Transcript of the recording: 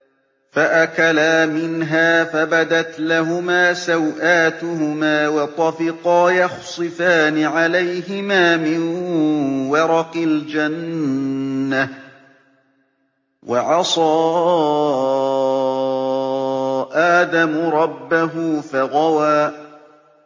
فَأَكَلَا مِنْهَا فَبَدَتْ لَهُمَا سَوْآتُهُمَا وَطَفِقَا يَخْصِفَانِ عَلَيْهِمَا مِن وَرَقِ الْجَنَّةِ ۚ وَعَصَىٰ آدَمُ رَبَّهُ فَغَوَىٰ